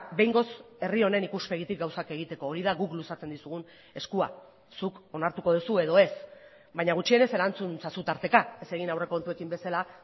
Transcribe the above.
behingoz herri honen ikuspegitik gauzak egiteko hori da guk luzatzen dizugun eskua zuk onartuko duzu edo ez baina gutxienez erantzun ezazu tarteka ez egin aurrekontuekin bezala